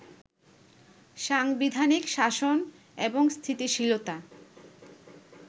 সাংবিধানিক শাসন এবং স্থিতিশীলতা